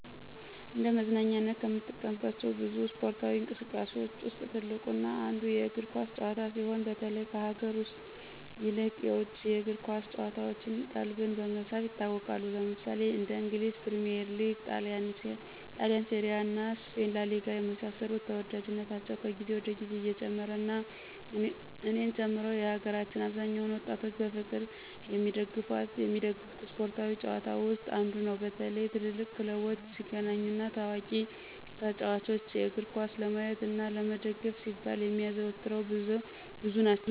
እንደ መዝናኛነት ከምንጠቀምባቸው ብዙ እስፓርታዊ እንቅስቃሴዎች ውስጥ ትልቁ እና አንዱ የእግር ኳስ ጭዋታ ሲሆን በተለይ ከሀገር ውስጥ ይልቅ የውጭ የእግር ኳስ ጭዋታዎች ቀልብን በመሳብ ይታወቃሉ። ለምሳሌ እንደ እንግሊዝ ፕሪሚዬር ሊግ; ጣሊንሴሪያ እና ስፔን ላሊጋ የመሳሰሉት ተዎዳጅነታቸው ከግዜ ወደ ግዜ እየጨመሩ እና እኔን ጨምሮ የሀገራችን አብዛኛውን ወጣቶች በፍቅር የሚደገፉት ስፓርታዊ ጭዋታ ውስጥ አንዱ ነው። በተለይ ትልልቅ ክለቦች ሲገናኙ እና ታዋቂ ተጫዎቾችን እግርኳስ ለማየት እና ለመደገፍ ሲባል የሚያዘወትረው ብዙ ናቸው።